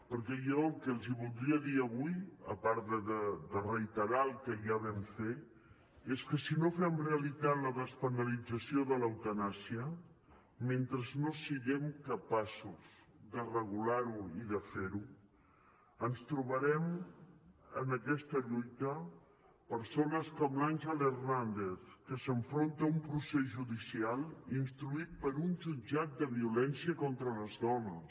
perquè jo el que els voldria dir avui a part de reiterar el que ja vam fer és que si no fem realitat la despenalització de l’eutanàsia mentre no siguem capaços de regular ho i de fer ho ens trobarem en aquesta lluita persones com l’àngel hernández que s’enfronta a un procés judicial instruït per un jutjat de violència contra les dones